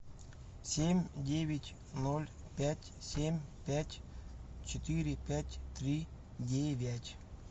семь девять ноль пять семь пять четыре пять три девять